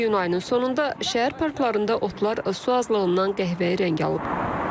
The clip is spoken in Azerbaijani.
İyun ayının sonunda şəhər parklarında otlar su azlığından qəhvəyi rəng alıb.